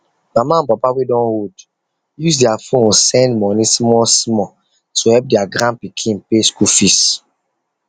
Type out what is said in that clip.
mama and papa wey don old use their phone send money smallsmall to help their grandpikin pay school fees